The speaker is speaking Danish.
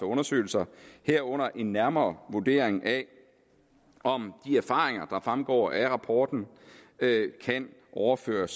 undersøgelser herunder en nærmere vurdering af om de erfaringer der fremgår af rapporten kan overføres